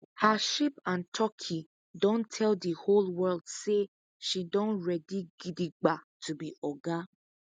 her sheep and turkey don tell the whole world say she don ready gidigba to be oga